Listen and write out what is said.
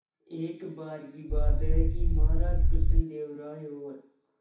एक बार की बात है कि महाराज कृष्णदेव राय और